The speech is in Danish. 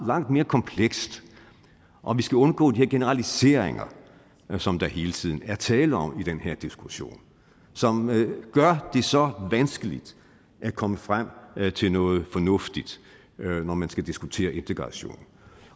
langt mere komplekst og vi skal undgå de her generaliseringer som der hele tiden at tale om i den her diskussion som gør det så vanskeligt at komme frem til noget fornuftigt når man skal diskutere integration